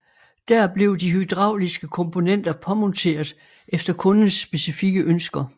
Der blev de hydrauliske komponenter påmonteret efter kundens specifikke ønsker